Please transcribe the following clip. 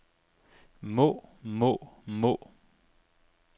må må må